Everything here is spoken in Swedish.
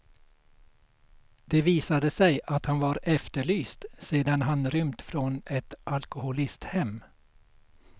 Det visade sig att han var efterlyst sedan han rymt från ett alkoholisthem.